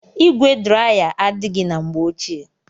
Igwe draya adaghi na mgbe ochie.